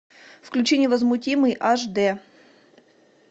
включи невозмутимый аш дэ